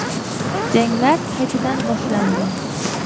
Janglar qaytadan boshlandi.